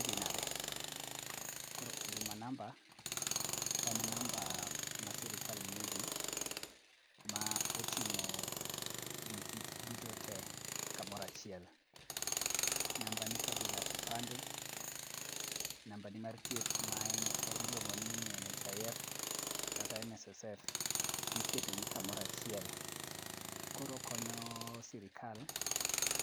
Idhi nade, koro huduma namba en namba ma sirikal miyo ji ,ma oting'o giki duto te, kamoro achiel. Nambani kabila kipande, nambani mar thieth ma iluongo ni NHIF kata NSSF iketogi kamoro achiel. Koro okonyo sirikal